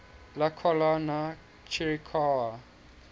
la collana chirikawa